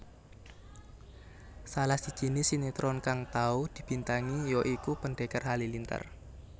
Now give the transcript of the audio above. Salah sijine sinetron kang tau dibintangi ya iku Pendekar Halilintar